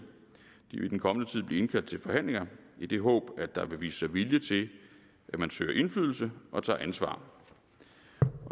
de vil i den kommende tid blive indkaldt til forhandlinger i det håb at der vil vise sig vilje til at man søger indflydelse og tager ansvar